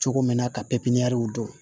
Cogo min na ka periw dɔn